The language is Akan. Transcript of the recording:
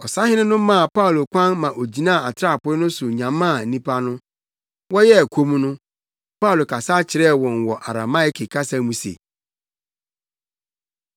Ɔsahene no maa Paulo kwan ma ogyinaa atrapoe no so nyamaa nnipa no. Wɔyɛɛ komm no, Paulo kasa kyerɛɛ wɔn wɔ Arameike kasa mu se: